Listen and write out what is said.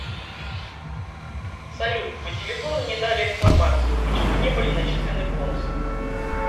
салют по телефону не дали информацию почему не были начислены бонусы